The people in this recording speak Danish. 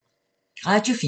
Radio 4